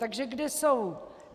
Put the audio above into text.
Takže kde jsou?